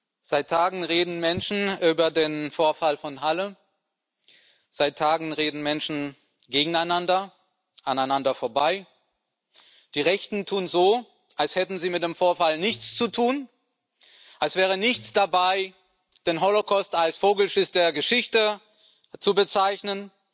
Frau Präsidentin! Seit Tagen reden Menschen über den Vorfall von Halle, seit Tagen reden Menschen gegeneinander, aneinander vorbei. Die Rechten tun so, als hätten sie mit dem Vorfall nichts zu tun, als wäre nichts dabei, den Holocaust als Vogelschiss der Geschichte zu bezeichnen,